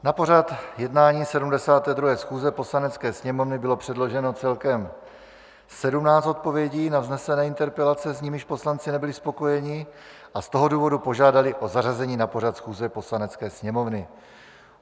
Na pořad jednání 72. schůze Poslanecké sněmovny bylo předloženo celkem 17 odpovědí na vznesené interpelace, s nimiž poslanci nebyli spokojeni, a z toho důvodu požádali o zařazení na pořad schůze Poslanecké sněmovny.